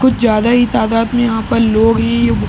कुछ ज्यादा ही तादात में यहाँ पर लोग है ये --